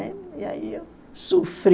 Né? E aí eu sofri.